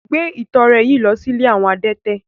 Gbé ìtọrẹ yìí lọ sí ilé àwọn adẹ́tẹ̀!